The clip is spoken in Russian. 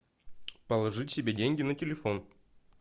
положить себе деньги на телефон